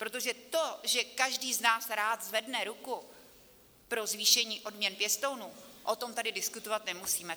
Protože to, že každý z nás rád zvedne ruku pro zvýšení odměn pěstounům, o tom tady diskutovat nemusíme.